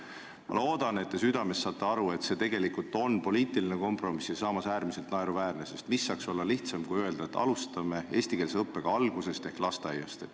Ma loodan, et te saate südames aru, et see on tegelikult poliitiline kompromiss ja äärmiselt naeruväärne, sest mis saaks olla lihtsam, kui öelda, et alustame eestikeelse õppega algusest ehk lasteaiast.